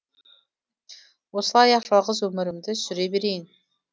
осылай ақ жалғыз өмірімді сүре берейін